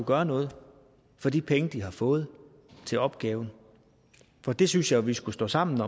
gøre noget for de penge de har fået til opgaven for det synes jeg jo vi skulle stå sammen